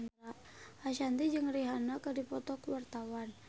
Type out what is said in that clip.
Ashanti jeung Rihanna keur dipoto ku wartawan